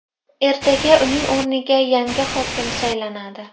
Ertaga uning o‘rniga yangi hokim saylanadi.